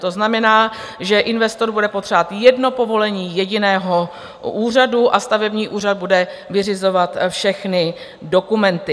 To znamená, že investor bude potřebovat jedno povolení jediného úřadu a stavební úřad bude vyřizovat všechny dokumenty.